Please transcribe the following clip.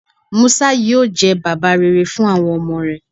Musa yoo jẹ baba rere fun awọn ọmọ rẹ